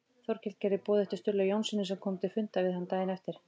Þórkell gerði boð eftir Stulla Jónssyni sem kom til fundar við hann daginn eftir.